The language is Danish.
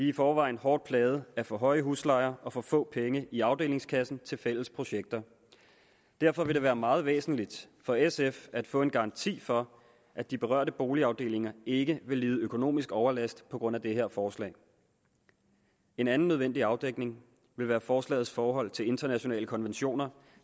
i forvejen hårdt plagede af for høje huslejer og for få penge i afdelingskassen til fælles projekter derfor vil det være meget væsentligt for sf at få en garanti for at de berørte boligafdelinger ikke vil lide økonomisk overlast på grund af det her forslag en anden nødvendig afdækning vil være forslagets forhold til internationale konventioner